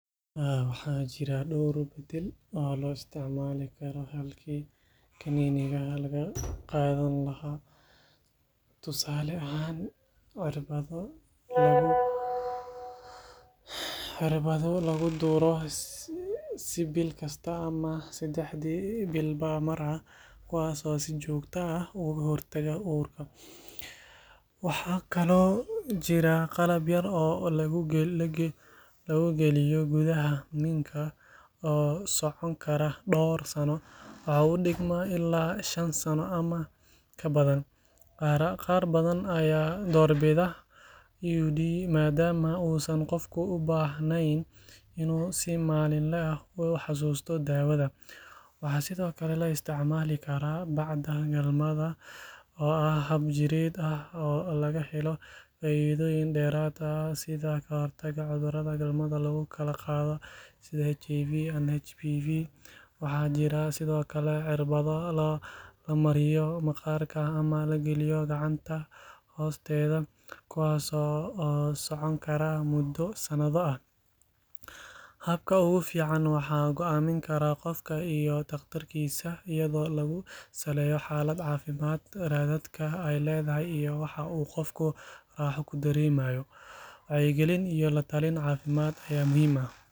Halkan waxa ka socda waxbarasho. Labada arday ee dhar buluug ah xiran waxay fadhiyaan fasal waxayna adeegsadaan qalab elektaroonik ah sida tablet ama laptop. Waxay u muuqdaan kuwo faraxsan, taasoo muujinaysa inay ku raaxaysanayaan waxbarashada. Waxaa muuqata in fasalku yahay mid casri ah, taasoo tilmaamaysa in teknoolojiyaddu kaalin weyn ka qaadanayso habka waxbarashada maanta. Tani waxay u sahlaysaa ardayda inay helaan macluumaad badan oo dhakhso ah, isla markaana si hufan wax u bartaan. Waxay sidoo kale muujinaysaa sida fursadaha waxbarasho ay muhiim ugu yihiin horumarka carruurta, gaar ahaan marka ay helaan agabkii iyo taageeradii ay u baahnaayeen. Waxbarashada noocan ah waxay dhistaa mustaqbal ifaya, waxayna door muhiim ah ka ciyaartaa kobcinta maskaxda, xirfadaha, iyo kalsoonida ardayda. Markaad aragto sawir sidan oo kale ah, waxa maskaxda ku soo dhacaya waa rajada, horumarka, iyo mustaqbalka ifaya ee jiilka soo koraya.